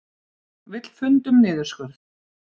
Vill fund um niðurskurð